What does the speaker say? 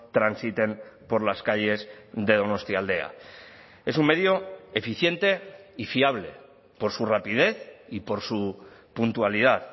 transiten por las calles de donostialdea es un medio eficiente y fiable por su rapidez y por su puntualidad